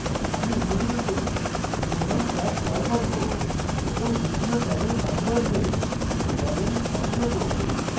আমি image রূপে প্রথম ট্যাব call করব এবং দ্বিতীয় ট্যাবের নাম বদলে balance নাম দেবো